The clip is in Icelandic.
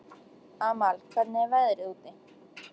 Amal, hvernig er veðrið úti?